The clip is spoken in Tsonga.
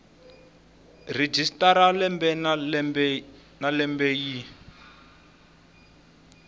registrar lembe na lembe yi